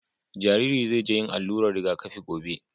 Jariri zai je yin allurar rigakafi gobe.